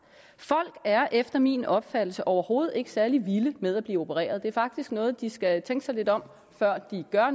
folk er efter min opfattelse overhovedet ikke særlig vilde med at blive opereret det er faktisk noget hvor de skal tænke sig lidt om før de gør